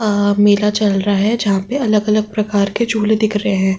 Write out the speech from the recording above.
अं मेला चल रहा है जहां पे अलग अलग प्रकार के झूले दिख रहे हैं।